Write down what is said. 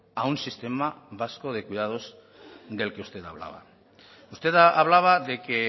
a un sistema vasco de cuidados del que usted hablaba usted hablaba de que